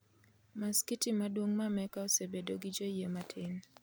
Masikiti maduong' mar Mecca osebedo gi joyie matin